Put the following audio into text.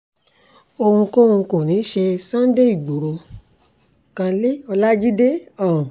ohunkóhun kọ́ ní í ṣe sunday igboro-kanle ọlajide um